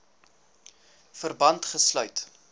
verband gesluit